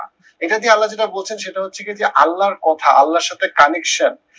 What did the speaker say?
এইটা দিয়ে আল্লা যেটা বলছেন সেটা হচ্ছে গিয়ে যে আল্লার কথা আল্লার সাথে connection